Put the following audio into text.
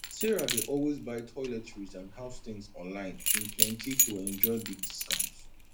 sarah dey always buy toiletries and house things online in plenty to enjoy big discount